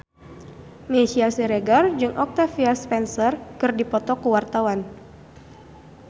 Meisya Siregar jeung Octavia Spencer keur dipoto ku wartawan